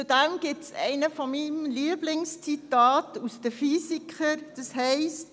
Dazu gibt es ein Lieblingszitat von mir aus dem Theaterstück «Die Physiker» von Max Frisch: